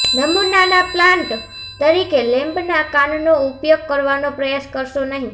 નમૂનાના પ્લાન્ટ તરીકે લેમ્બના કાનનો ઉપયોગ કરવાનો પ્રયાસ કરશો નહીં